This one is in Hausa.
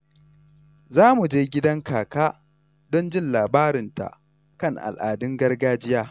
Za mu je gidan kaka don jin labarinta kan al’adun gargajiya.